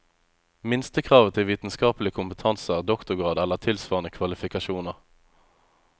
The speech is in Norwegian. Minstekravet til vitenskapelig kompetanse er doktorgrad eller tilsvarende kvalifikasjoner.